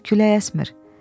Artıq külək əsmir.